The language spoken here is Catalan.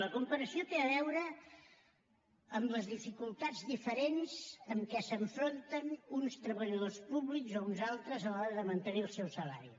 la comparació té a veure amb les dificultats diferents amb què s’enfronten uns treballadors públics o uns altres a l’hora de mantenir el seu salari